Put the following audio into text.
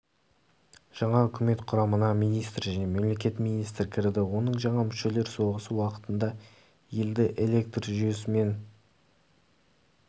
жаңа үкімет құрамына министр және мемлекеттік министр кірді оның жаңа мүшелер соғыс уақытында елді электр жүйесімен